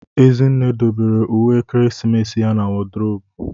Ezinne dobere uwe ekeresimesi ya na wodrobu.